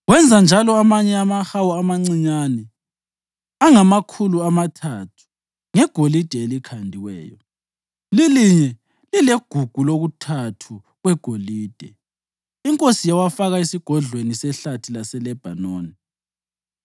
Wenza njalo amanye amahawu amancinyane angamakhulu amathathu ngegolide elikhandiweyo, lilinye lilegugu lokuthathu kwegolide. Inkosi yawafaka esigodlweni seHlathi laseLebhanoni.